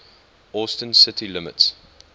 austin city limits